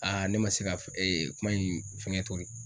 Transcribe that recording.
ne ma se ka f kuma in fɛŋɛ tori